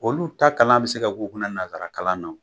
Olu ta kalan bi se ka k'u kunna nanzara kalanna o